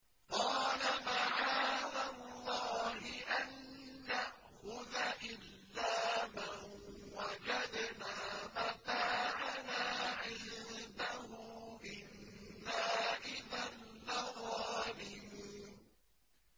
قَالَ مَعَاذَ اللَّهِ أَن نَّأْخُذَ إِلَّا مَن وَجَدْنَا مَتَاعَنَا عِندَهُ إِنَّا إِذًا لَّظَالِمُونَ